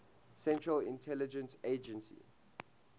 central intelligence agency